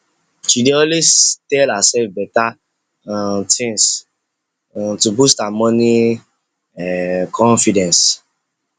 she dey always tell herself better um things um to boost her money um confidence